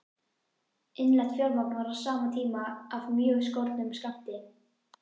Innlent fjármagn var á sama tíma af mjög skornum skammti.